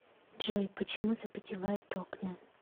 джой почему запотевают окна